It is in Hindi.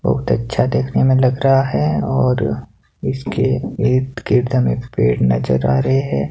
बहुत अच्छा देखने में लग रहा है और इसके ईद-गिर्द में पेड़ नजर आ रहे हैं।